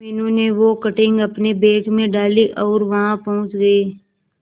मीनू ने वो कटिंग अपने बैग में डाली और वहां पहुंच गए